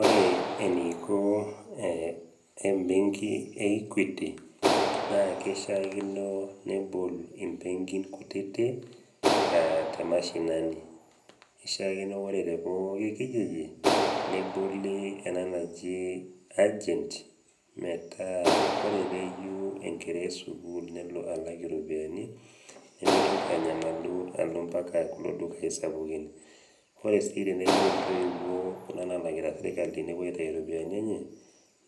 Ore eneiko embenki e Equity naa keishiakino nebol imbenkin kutiti te mashinani, eishakino ore te pooki kijiji neboli ena naji agent metaa ore peyeu enkerai e sukuul nelo alak iropiani nemeitoki anyamalu alo mpaka kulo dukai sapuki. Ore sii teneyeu intoiwuo kuna nalakita serkali newuo aitayu iropiani enye,